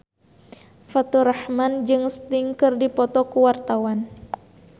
Faturrahman jeung Sting keur dipoto ku wartawan